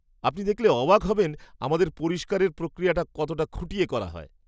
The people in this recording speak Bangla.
আপনি দেখলে অবাক হবেন আমাদের পরিষ্কারের প্রক্রিয়াটা কতটা খুঁটিয়ে করা হয়।